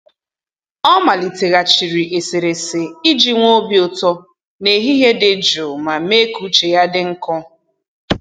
Ọ maliteghachiri eserese iji nwee obi ụtọ n'ehihie dị jụụ ma mee ka uche ya dị nkọ.